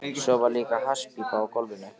Svo var líka hasspípa á gólfinu.